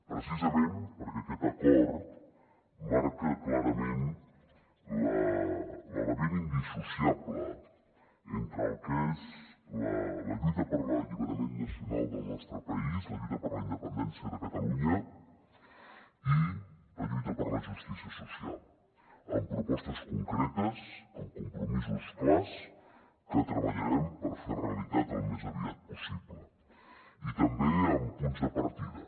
precisament perquè aquest acord marca clarament l’element indissociable entre el que és la lluita per l’alliberament nacional del nostre país la lluita per la independència de catalunya i la lluita per la justícia social amb propostes concretes amb compromisos clars que treballarem per fer realitat al més aviat possible i també amb punts de partida